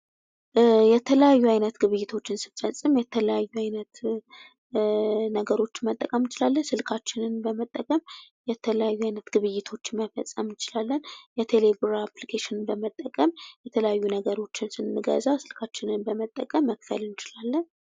የተለያየ ግብይቶችን ስንፈጽም የተለያዩ አይነት ነገሮች መጠቀም ትችላለን ስልካችንን በመጠቀም የተለያዩ አይነት ግብይቶችን መፈፀም እንችላለን ቴሌብር አፕሊኬሽን በመጠቀም የተለያዩ ነገሮችን ስንገዛ በመጠቀም መክፈል እንችላለን